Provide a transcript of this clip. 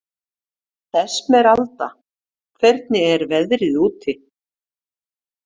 Esmeralda, hvernig er veðrið úti?